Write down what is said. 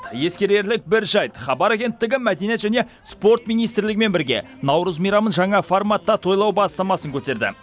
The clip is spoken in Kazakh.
ескерерлік бір жайт хабар агенттігі мәдениет және спорт министрлігімен бірге наурыз мейрамын жаңа форматта тойлау бастамасын көтерді